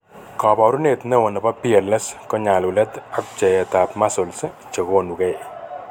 Kabarunyet neo nebo PLS ko nyalulet ak pcheyet ab muscles che konugei